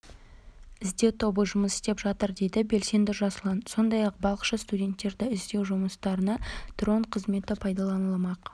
іздеу тобы жұмыс істеп жатыр дейді белсенді жасұлан сондай-ақ балықшы-студенттерді іздеу жұмыстарына дрон қызметі пайдаланылмақ